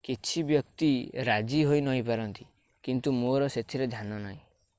କିଛି ବ୍ୟକ୍ତି ରାଜି ହୋଇନପାରନ୍ତି କିନ୍ତୁ ମୋର ସେଥିରେ ଧ୍ୟାନ ନାହିଁ